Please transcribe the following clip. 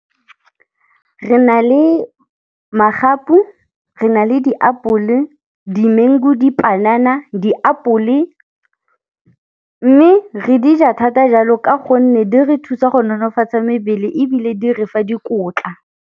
Re na le magapu, re na le diapole, di mango, dipanana, diapole, mme re di ja thata jalo ka gonne di re thusa go nonofatsa mebele ebile di re fa dikotla.